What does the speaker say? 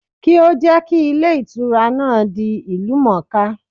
Kí ó jẹ́ kí Ilé Ìtura náà di ìlú mòóká